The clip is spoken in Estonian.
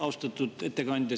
Austatud ettekandja!